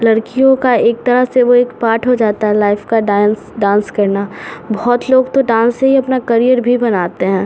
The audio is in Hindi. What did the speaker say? लड़कियों का एक तरह से वो एक पार्ट हो जाता है लाइफ का डांस डान्स करना बहोत लोग तो डान्स से ही अपना करियर भी बनाते हैं।